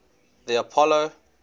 the apollo